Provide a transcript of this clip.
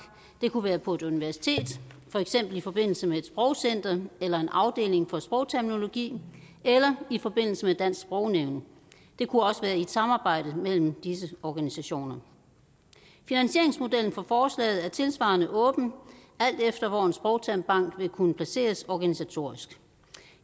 det kunne være på et universitet for eksempel i forbindelse med et sprogcenter eller en afdeling for sprogterminologi eller i forbindelse dansk sprognævn det kunne også være i et samarbejde mellem disse organisationer finansieringsmodellen for forslaget er tilsvarende åben alt efter hvor en sprogtermbank vil kunne placeres organisatorisk